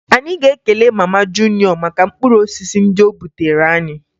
Anyị ga-ekele mama Juniọ maka mkpụrụosisi ndị o butere anyị